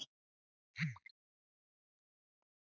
Að því bý ég allt mitt líf.